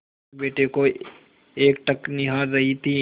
अपने बेटे को एकटक निहार रही थी